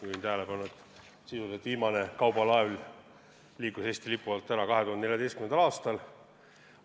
Juhin tähelepanu, et sisuliselt viimane kaubalaev lahkus Eesti lipu alt 2014. aastal.